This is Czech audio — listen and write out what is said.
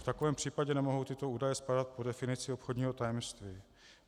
V takovém případě nemohou tyto údaje spadat pod definici obchodního tajemství.